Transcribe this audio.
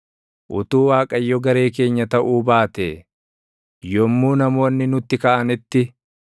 utuu Waaqayyo garee keenya taʼuu baatee, yommuu namoonni nutti kaʼanitti,